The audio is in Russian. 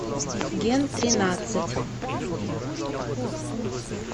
ген тринадцать